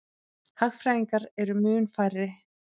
Hagfræðingar eru mun færri.